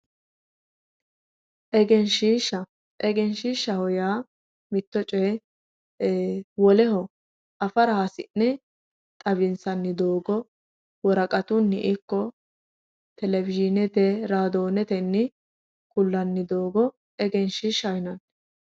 Egenshishsha, egenshishshaho yaa mitto coye woleho afara hasi'ne xawinsanni doogo worqatunni ikko televisionete radonete ku'lanni doogo egenshishshaho yinnanni.